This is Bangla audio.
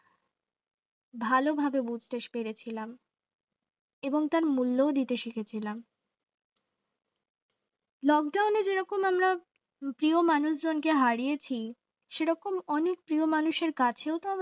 ভালো হয়ে বুঝতে পেরেছিলাম এবং তার মূল্য দিতে শিখেছিলাম lockdown এর যেরকম আমরা প্রিয় মানুষজনকে হারিয়েছি সেরকম অনেক প্রিয় মানুষের কাছেও তো